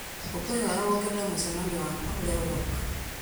ngũkwĩhoya wongerere mũcemanio wakwa ũrĩa ũrooka